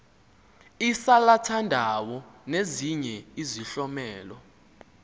isalathandawo nezinye izihlomelo